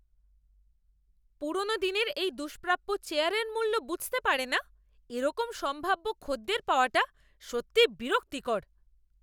পুরনো দিনের এই দুষ্প্রাপ্য চেয়ারের মূল্য বুঝতে পারে না এরকম সম্ভাব্য খদ্দের পাওয়াটা সত্যি বিরক্তিকর।